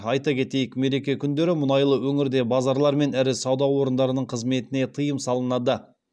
айта кетейік мереке күндері мұнайлы өңірде базарлар мен ірі сауда орындарының қызметіне тыйым салынады